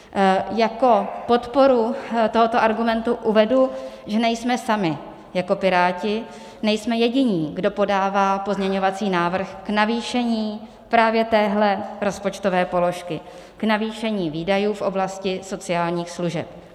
Jako podporu tohoto argumentu uvedu, že nejsme sami jako Piráti, nejsme jediní, kdo podává pozměňovací návrh k navýšení právě téhle rozpočtové položky, k navýšení výdajů v oblasti sociálních služeb.